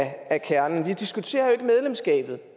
af kernen vi diskuterer ikke medlemskabet